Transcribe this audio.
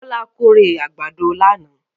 Bọlá kórè àgbàdo lánàá.